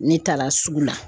Ne taara sugu la